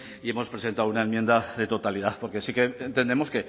y hemos presentado una enmienda de totalidad porque sí que entendemos